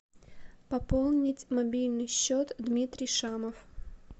пополнить мобильный счет дмитрий шамов